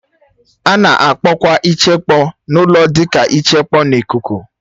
A na-akpọkwa ichekpọ n'ụlọ dị ka ịchekpọ n'ikuku